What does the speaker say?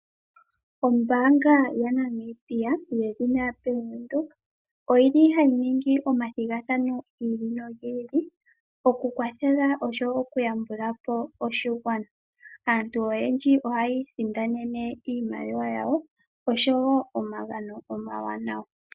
Ombaanga yaNamibia yedhina Bank Windhoek oyili hayi ningi omathigathano giili nogiili okukwathela oshowo oku yambulapo oshigwana. Aantu oyendji ohayi isindanene iimaliwa yawo oshowo omagano omawanawa.